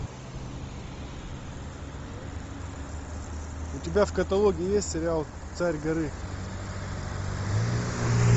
у тебя в каталоге есть сериал царь горы